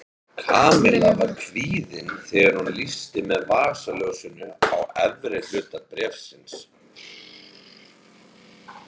Kamilla var kvíðin þegar hún lýsti með vasaljósinu á efri hluta bréfsins.